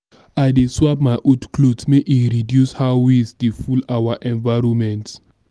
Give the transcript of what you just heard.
i dey swap my old clothes make e reduce how waste dey full our environment.